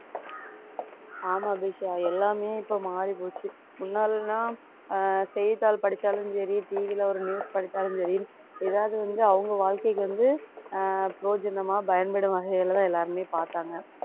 ஆமா அபிஷா எல்லாமே இப்ப மாறி போச்சு முன்னால எல்லாம் ஆஹ் செய்தித்தாள் படிச்சாலும் சரி TV ல ஒரு news படிச்சாலும் சரி ஏதாவது வந்து அவங்க வாழ்க்கைக்கு வந்து ஆஹ் பிரயோஜனமா பயன்படும் வகையிலதான் எல்லாருமே பாத்தாங்க